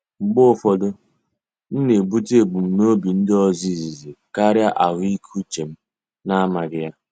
Mgbe ụfọdụ, m na-ebute ebumnobi ndị ọzọ izizi karịa ahụike uche m na-amaghị ya.